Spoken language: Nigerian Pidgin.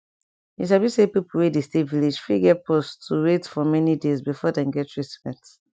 you sabi say pipo wey dey stay village fit get pause to wait for many days before dem get treatment